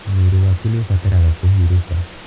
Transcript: Mwĩrĩ waku nĩ ũbataraga kũhurũka